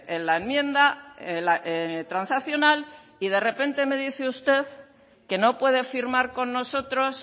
en la enmienda transaccional y de repente me dice usted que no puede firmar con nosotros